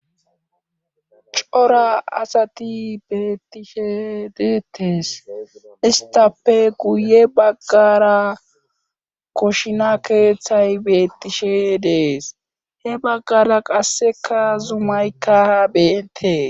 cora asati beettishe deettes istape guye baggara koshina keeththay beettishe dees he baggara qasseka zumaykka ha beentee